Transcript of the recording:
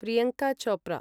Priyanka Chopra